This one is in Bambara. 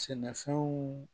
Sɛnɛfɛnw